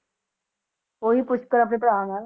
ਓਹੀ ਪੁਸ਼ਕਰ ਆਪਣੇ ਭਰਾ ਨਾਲ